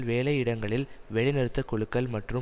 வேலையிடங்களில் வேலைநிறுத்தக் குழுக்கள் மற்றும்